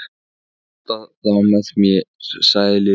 Þú mátt nota þá með mér sagði Lilla.